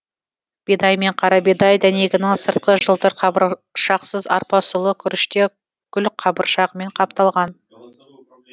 бидай мен қарабидай дәнегінің сырты жылтыр қабыршақсыз арпа сұлы күріште гүлқабыршағымен қапталған